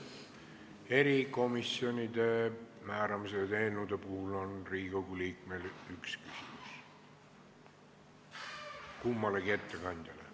Erikomisjoni liikmete nimetamise eelnõude puhul on igal Riigikogu liikmel õigus esitada üks küsimus kummalegi ettekandjale.